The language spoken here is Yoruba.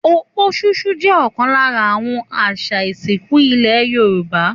Òpó ṣúṣú jẹ́ ọ̀kan lára àwọn àṣà ìsìnkú nílẹ̀ Yorùbá